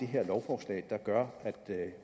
her lovforslag der gør at